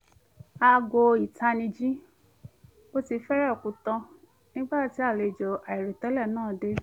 aago ìtanijí ò tíi fẹ́rẹ̀ẹ́ kú tán nígbà tí àlejò àìròtẹ́lẹ̀ náà dé